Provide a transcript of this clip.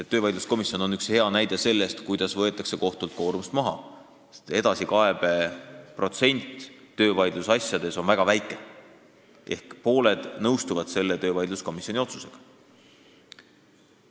Aga töövaidluskomisjon on hea näide sellest, kuidas võetakse kohtult koormust maha: edasikaebe protsent töövaidlusasjades on väga väike ehk siis pooled nõustuvad üldiselt töövaidluskomisjoni otsusega.